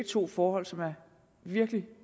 to forhold som er virkelig